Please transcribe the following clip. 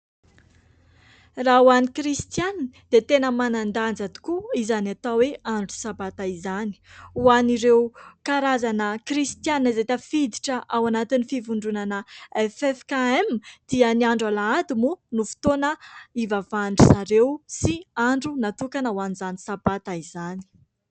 Raha ho an'i kristianina dia tena manan-danja tokoa izany atao hoe andro sabata izany, hoan'ireo karazana kristianina izay tafiditra ao anatin'ny fivondronana "FFKM" dia ny andro alahady moa no fotoana ivavan'izareo sy andro natokana ho an'izany sabata izany.